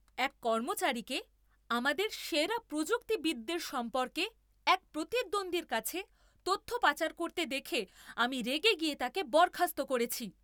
এক কর্মচারীকে আমাদের সেরা প্রযুক্তিবিদদের সম্পর্কে এক প্রতিদ্বন্দ্বীর কাছে তথ্য পাচার করতে দেখে আমি রেগে গিয়ে তাকে বরখাস্ত করেছি।